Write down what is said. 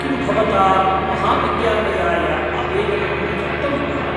किं भावता महाविद्यालयाय आवेदनं न दत्तं वा?